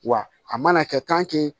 Wa a mana kɛ